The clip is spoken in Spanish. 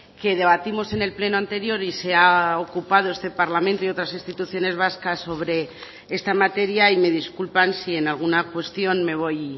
que debatimos en el pleno anterior y se ha ocupado este parlamento y otras instituciones vascas sobre esta materia y me disculpan si en alguna cuestión me voy